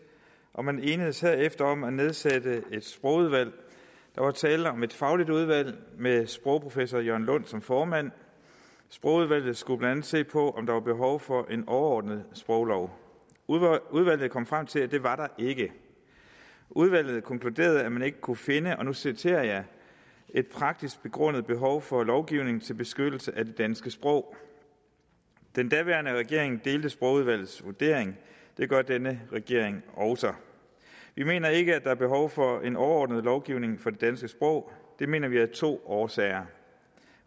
og man enedes herefter om at nedsætte et sprogudvalg der var tale om et fagligt udvalg med sprogprofessor jørn lund som formand sprogudvalget skulle blandt andet se på om der var behov for en overordnet sproglov udvalget kom frem til at det var der ikke udvalget konkluderede at man ikke kunne finde og nu citerer jeg et praktisk begrundet behov for lovgivning til beskyttelse af det danske sprog den daværende regering delte sprogudvalgets vurdering det gør denne regering også vi mener ikke at der er behov for en overordnet lovgivning for det danske sprog det mener vi af to årsager